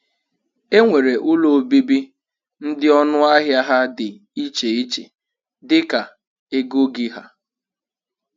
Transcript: E nwere ụlọ obibi ndị ọnụ ahịa ha dị iche iche dịka ego gị ha.